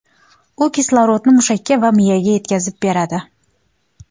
U kislorodni mushaklar va miyaga yetkazib beradi.